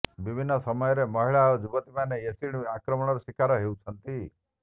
ବିଭିନ୍ନ ସମୟରେ ମହିଳା ଓ ଯୁବତୀମାନେ ଏସିଡ଼୍ ଆକ୍ରମଣ ଶିକାର ହେଉଛନ୍ତି